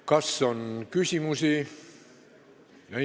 Kas on küsimusi?